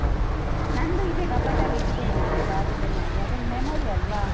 ನಂದೂ ಇದೆ ಕಬಟಲ್ಲಿ ಇಟ್ಟಿದ್ದೇನೆ ನಾನು ಜಾಗ್ರತೆ ಮಾಡಿ, ಅದೊಂದು memory ಅಲ್ವಾ?